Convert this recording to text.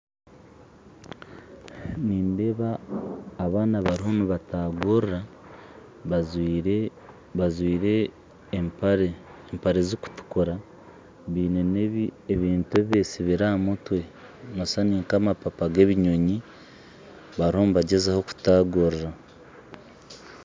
Nindeba abana bariyo nibatagurira bajwire empare zikutukura baine nebintu ebibesibire ahamutwe noshwa ni nkamapapa g'ebinyonyi, bariho nibagyezaho kutagurira.